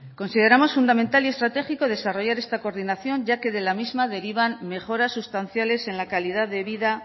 consideramos fundamental y estratégico desarrollar esta coordinación ya que de la misma derivan mejoras sustanciales en la calidad de vida